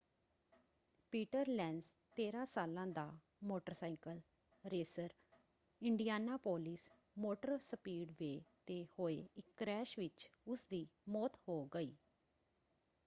Peter Lenz 13 ਸਾਲਾਂ ਦਾ motorcycle racer Indianapolis motor speedway 'ਤੇ ਹੋਏ ਇੱਕ ਕ੍ਰੈਸ਼ ਵਿੱਚ ਉਸਦੀ ਮੌਤ ਹੋ ਗਈ।